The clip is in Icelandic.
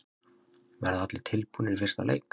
Verða allir tilbúnir í fyrsta leik?